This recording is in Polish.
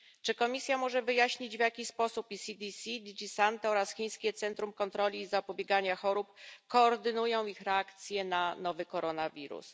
Czy Komisja może wyjaśnić, w jaki sposób ECDC, DG Santo oraz chińskie centrum kontroli i zapobiegania chorób koordynują ich reakcje na nowy koronawirus?